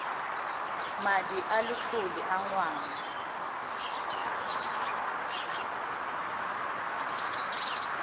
madi a letlole a ngwana